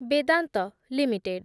Vedanta limited